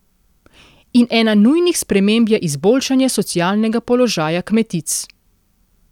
In ena nujnih sprememb je izboljšanje socialnega položaja kmetic.